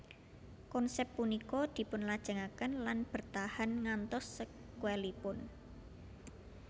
Konsep punika dipunlajengaken lan bertahan ngantos sekuelipun